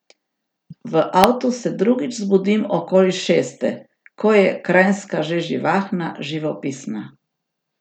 V avtu se drugič zbudim okoli šeste, ko je Kranjska že živahna, živopisna.